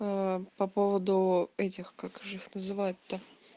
по поводу этих как же их называют то